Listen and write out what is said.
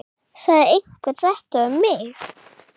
Sagði einhver þetta við mig?